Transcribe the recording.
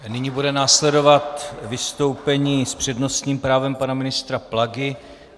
Nyní bude následovat vystoupení s přednostním právem pana ministra Plagy.